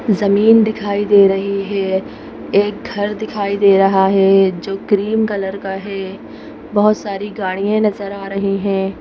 जमीन दिखाई दे रही है एक घर दिखाई दे रहा है जो क्रीम कलर का है बहुत सारी गाड़ियां नजर आ रही हैं।